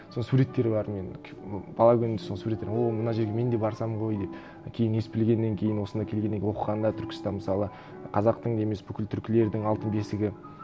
соның суреттері бар мен бала күнде сол суреттер о мына жерге мен де барсам ғой деп кейін ес білгеннен кейін осында келгеннен оқығанда түркістан мысалы қазақтың емес бүкіл түркілердің алтын бесігі